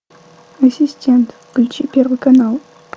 ассистент включи первый канал